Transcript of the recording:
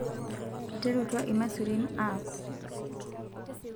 eterutua imasurin aaku